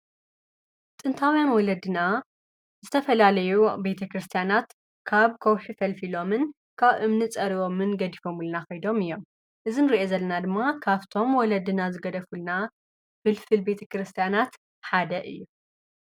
ጥንታዉያን ወለድና ዝተፈለለዩ ኣብ ቤተ ክርስትያናት ካብ ኮውሒ ፍልፍሎምን ካብ እምኒ ፀሪቦምን ገድፈምሊና ኮይዶም እዩም። እዚ ንርኦ ዘለና ድማ ካፍቶም ወለዲና ዝገደፍሉና ፍልፍል ቤተ ክርስትያናት ሓደ እዩ።